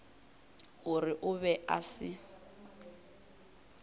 gore o be a se